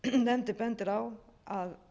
nefndin bendir á að